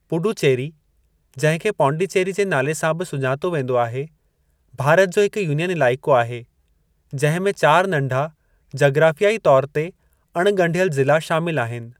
पुडुचेरी, जहिं खे पांडिचेरी जे नाले सां बि सुञातो वेंदो आहे, भारत जो हिक यूनियन इलाइक़ो आहे, जहिं में चार नंढा जग्राफियाई तोर ते अण-ॻंढियल ज़िला शामिल आहिनि।